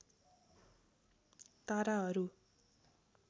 ताराहरू